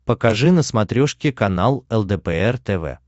покажи на смотрешке канал лдпр тв